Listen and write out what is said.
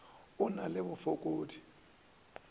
a o na le bofokodi